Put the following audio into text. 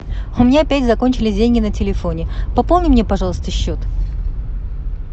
у меня опять закончились деньги на телефоне пополни мне пожалуйста счет